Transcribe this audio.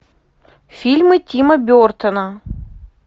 фильмы тима бертона